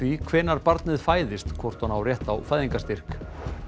hvenær barnið fæðist hvort hún á rétt á fæðingarstyrk